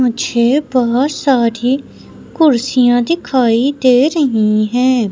मुझे बहोत सारी कुर्सियां दिखाई दे रही है।